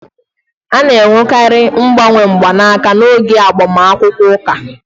A na-enwekarị mgbanwe mgbanaka n'oge agbamakwụkwọ ụka